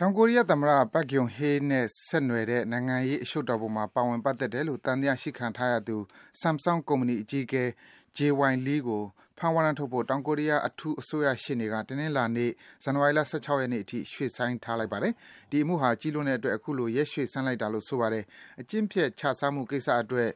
တောင်ကိုရီးယားသမ္မတ Park Geun-hye နဲ့ ဆက်နွယ်တဲ့ နိုင်ငံရေးအရှုပ်တော်ပုံမှာ ပါဝင် ပတ်သက်တယ်လို့ သံသယရှိခံထားရသူ Samsung ကုမ္ပဏီ အကြီးအကဲ Jay Y. Lee ကို ဖမ်းဝရမ်းထုတ်ဖို့ တောင်ကိုရီးယား အထူး အစိုးရရှေ့နေက တနင်္လာနေ့ ဇန်နဝါရီလ ၁၆ ရက်နေ့အထိ ရွေ့ဆိုင်းထားပါတယ်။ ဒီအမှုဟာ ကြီးလွန်းတဲ့အတွက် အခုလို ရက်ရွေ့ဆိုင်းလိုက်တာလို့ ဆိုပါတယ်။ အကျင့်ပျက် ခြစားမှုကိစ္စအတွက်